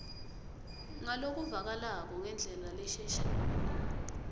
ngalokuvakalako ngendlela leshelelako